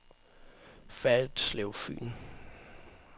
Ferritslev Fyn